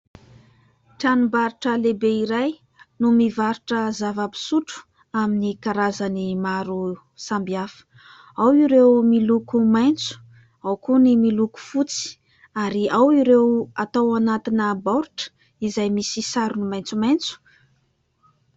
Tranombarotra lehibe iray no mivarotra zava-pisotro amin'ny karazany maro samihafa ; ao ireo miloko maitso ao koa ny miloko fotsy ary ao ireo atao anatina baoritra izay misy sarony maitsomaitso.